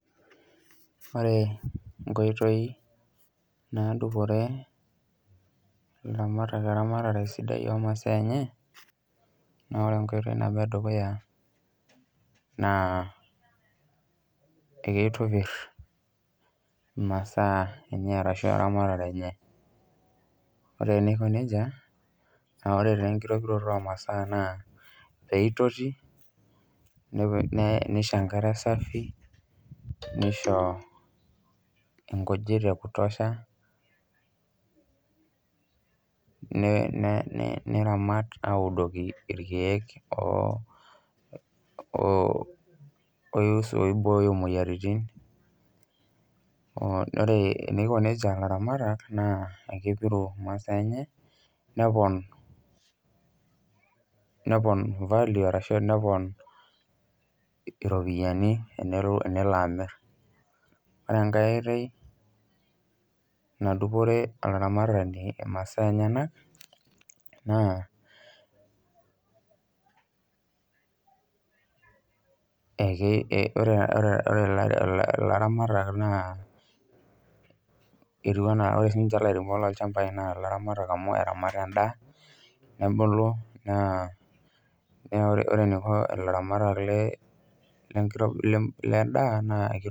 Ore nkoitoi naadupore ilaramatak eramatare sidai omasaa enye, naa ore embae nabo edukuya naa keitopir masaa enye ashu eramatare enye ,ore pee eiko nejia naa ore taa enkitopiroto omasaa naa pee eitoti neisho enkare safi nisho nkujit niramat audoki irekeek oibooyo moyiaritin. Ore teniko nejia laramatak, naa kepiru masaa enye neponu iropiyiani tenelo amir. Ore enkae oitoi nadupore olaramatani masa enyenak, naa ore laramatak naa etiu siininche enaa lairemok loolnchampai naa laramatak amu eramat endaa nebulu .